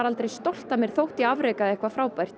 ekki stolt af mér þótt ég afrekaði eitthvað frábært